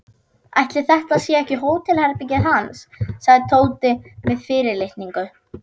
Ætli þetta sé ekki hótelherbergið hans sagði Tóti með fyrirlitningu.